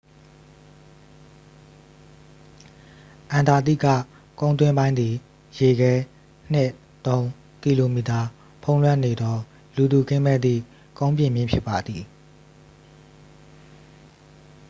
အန္တာတိကကုန်းတွင်းပိုင်းသည် ရေခဲ 2-3 km ဖုံးလွှမ်းနေသော လူသူကင်းမဲ့သည့်ကုန်းပြင်မြင့်ဖြစ်ပါသည်